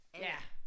Ja